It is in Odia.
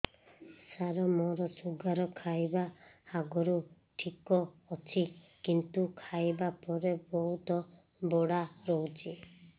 ସାର ମୋର ଶୁଗାର ଖାଇବା ଆଗରୁ ଠିକ ଅଛି କିନ୍ତୁ ଖାଇବା ପରେ ବହୁତ ବଢ଼ା ରହୁଛି